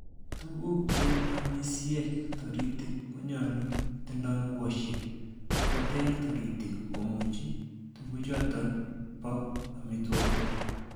Tuguk che amisiek toritik konyolu kotindoi mugosiek sikoter toritik komochu tuguchoton bo amitwogik.